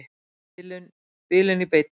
Bilun í beinni.